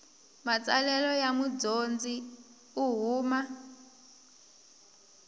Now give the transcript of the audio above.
matsalelo ya mudyondzi u huma